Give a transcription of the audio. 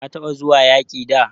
Ka taba zuwa yaki da?